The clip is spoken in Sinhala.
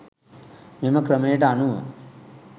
මෙම ක්‍රමයට අනුව